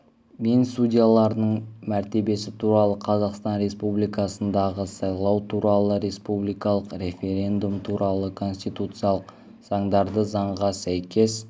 мен судьяларының мәртебесі туралы қазақстан республикасындағы сайлау туралы республикалық референдум туралы конституциялық заңдарды заңға сәйкес